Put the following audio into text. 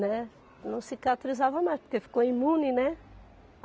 Né, não cicatrizava mais, porque ficou imune, né?